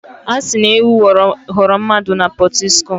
A sị na ewu ghọrọ mmadụ na Pọtiskum.